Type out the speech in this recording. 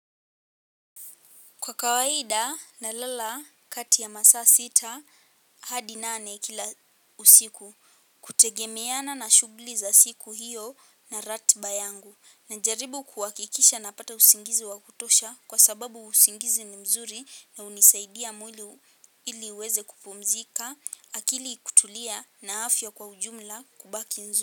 Kwa kawaida nalala kati ya masaa sita hadi nane kila usiku kutegemeana na shughuli za siku hiyo na ratiba yangu najaribu kuhakikisha napata usingizi wa kutosha kwa sababu usingizi ni mzuri na hunisaidia mwili ili uweze kupumzika akili kutulia na afya kwa ujumla kubaki nzuri.